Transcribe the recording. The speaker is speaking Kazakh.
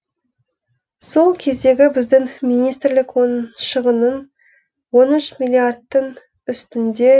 сол кездегі біздің министрлік оның шығынын он үш миллиардтің үстінде